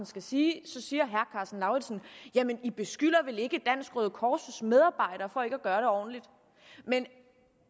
skal sige så siger herre karsten lauritzen i beskylder vel ikke dansk røde kors medarbejdere for ikke at gøre det ordentligt men